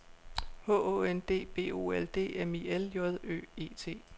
H Å N D B O L D M I L J Ø E T